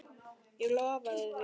Ég lofaði því.